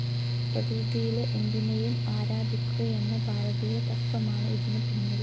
പ്രകൃതിയിലെ എന്തിനെയും ആരാധിക്കുകയെന്ന ഭാരതീയ തത്വമാണ് ഇതിന് പിന്നിൽ.